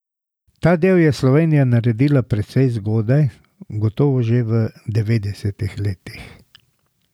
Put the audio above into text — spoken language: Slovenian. Ta del je Slovenija naredila precej zgodaj, gotovo že v devetdesetih letih.